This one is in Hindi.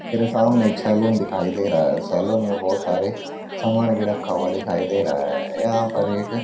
मेरे सामने एक सैलून दिखाई दे रहा है सैलून में बहुत सारे सामान भी रखा हुआ दिखाई दे रहा है यहां पर एक --